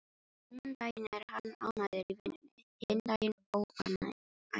Annan daginn er hann ánægður í vinnunni, hinn daginn óánægður.